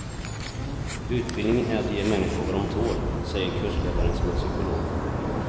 Utbildning är att ge människor vad dom tål, säger kursledaren som är psykolog.